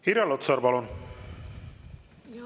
Irja Lutsar, palun!